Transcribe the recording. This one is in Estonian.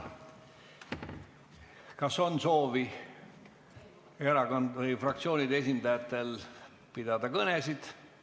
Kas fraktsioonide esindajatel on soovi pidada kõnesid?